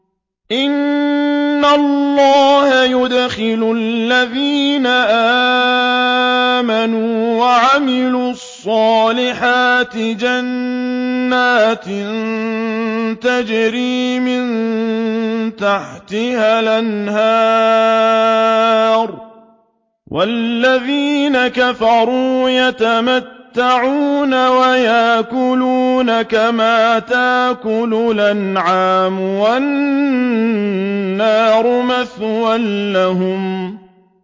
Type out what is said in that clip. إِنَّ اللَّهَ يُدْخِلُ الَّذِينَ آمَنُوا وَعَمِلُوا الصَّالِحَاتِ جَنَّاتٍ تَجْرِي مِن تَحْتِهَا الْأَنْهَارُ ۖ وَالَّذِينَ كَفَرُوا يَتَمَتَّعُونَ وَيَأْكُلُونَ كَمَا تَأْكُلُ الْأَنْعَامُ وَالنَّارُ مَثْوًى لَّهُمْ